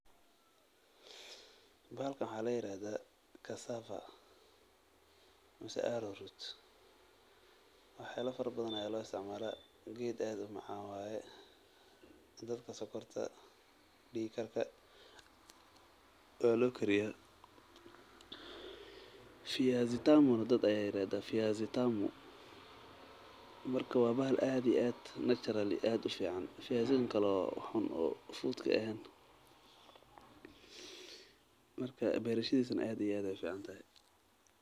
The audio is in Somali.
Bahalkan waxaa ladahaa casava wax yaaba fara badan ayaa loo siticmaalan geed aad umacaan waye dadka sokorta ayaa loo kariya waa bahal aad iyo aad ufican.